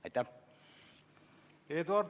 Aitäh!